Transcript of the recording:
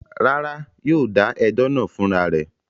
Rárá, yóò dà ẹjọ́ náà fún ra rẹ̀.